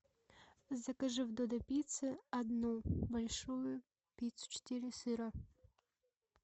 закажи в додо пицце одну большую пиццу четыре сыра